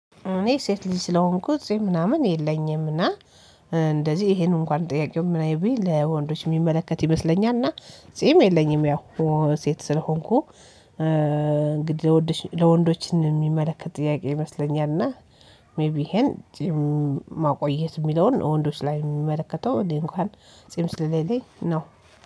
እኔ ሴት ልጅ ስለሆንኩኝ ጺም ምናምን የለኝምና እንደዚህ ይሄንን እንኳን ጥያቄው ወንዶች የሚመለከት ይመስለኛልና ጺም የለኝም ያው ሴት ስለሆንኩ። እንግዲህ ለወንዶች የሚመለከት ጥያቄ ይመስለኛል እና ሜይቢ ይሄን ጺም ማቆየት የሚለውን ወንዶች ላይ የሚመለከተው እንኳን ጺም ስሌለኝ ነው